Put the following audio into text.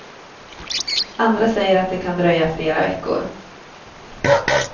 Andra säger att det kan dröja flera veckor.